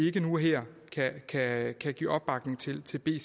ikke nu og her kan kan give opbakning til til b